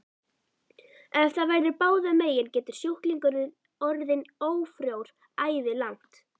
Ef það verður báðum megin getur sjúklingurinn orðið ófrjór ævilangt.